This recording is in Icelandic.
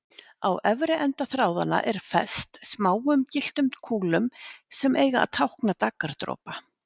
Á efri enda þráðanna er fest smáum gylltum kúlum, sem eiga að tákna daggardropa.